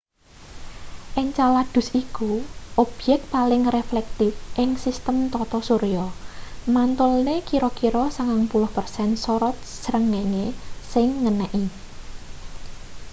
encaladus iku obyek paling reflektif ing sistem tata surya mantulne kira-kira 90 persen sorot srengenge sing ngeneki